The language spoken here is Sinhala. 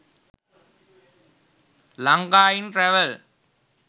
lanka in traval